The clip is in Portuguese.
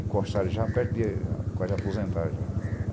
Encostaram já perto de... Quase aposentaram já.